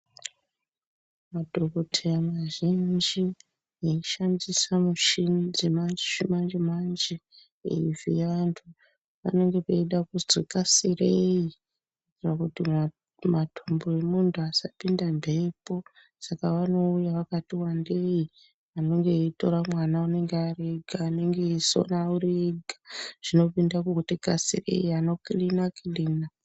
Madhokoteya mazhinji anoshandisa michini dzechimanje-manje eivhiya antu. Panenge peida kuzi kasirei pakuti matumbu emuntu asapinda mhepo. Saka vanouya vakati vandei anenga aitora mwana anenge ari ega anenge aisona ari ega, zvinopinda kuti kasirei anokirina-kirina.